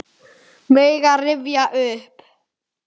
Mega rifja upp.